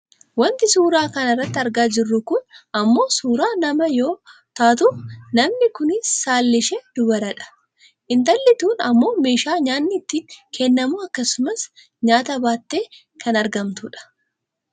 Wanti suuraa kana irratti argaa jirru kun ammoo suuraa namaa yoo taatu namni kunis saalli ishee dubara dha. Intalli kun ammoo meeshaa nyaanni itti kennamu akkasumas nyaata baattee kan argamtudha.